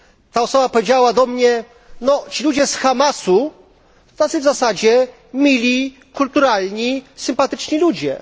Ta osoba powiedziała do mnie No, ci ludzie z Hamasu tacy w zasadzie mili, kulturalni, sympatyczni ludzie.